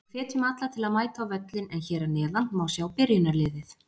Við hvetjum alla til að mæta á völlinn en hér að neðan má sjá byrjunarliðið.